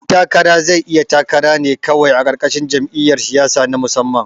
Ɗan takara zai iya takara ne kawai a ƙarƙashin jam'iyar siyasa na musamman